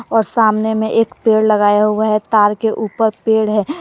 और सामने में एक पेड़ लगाया हुआ है तार के ऊपर पेड़ है।